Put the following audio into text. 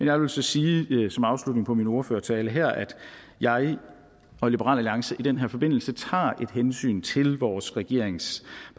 jeg vil så sige som afslutning på min ordførertale her at jeg og liberal alliance i den her forbindelse tager et hensyn til vores regeringsparter